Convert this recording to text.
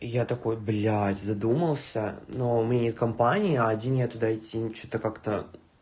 я такой блядь задумался но у меня нет компании а один я туда идти ну что-то как-то